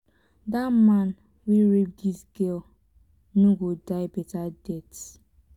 dat man wey rape dis girl no go die beta death